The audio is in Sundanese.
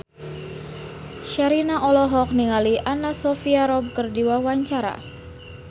Sherina olohok ningali Anna Sophia Robb keur diwawancara